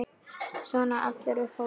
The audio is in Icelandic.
Svona allir upp á borð